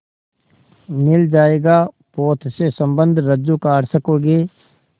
मिल जाएगा पोत से संबद्ध रज्जु काट सकोगे